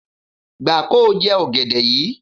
Gbà kóo jẹ ọ̀gẹ̀dẹ̀ yíi.